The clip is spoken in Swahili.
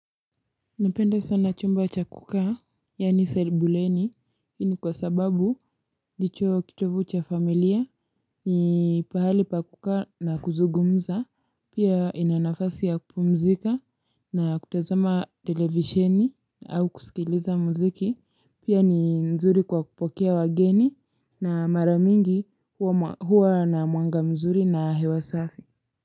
Napenda sana chumba cha kukaa, yaani sebuleni, hii ni kwa sababu., ndicho kitovu cha familia, ni pahali pa kukaa na kuzugumza, pia ina nafasi ya kupumzika, na kutazama televisheni, au kusikiliza mziki, pia ni nzuri kwa kupokea wageni, na maramingi huwa huwa na mwanga mzuri na hewa safi.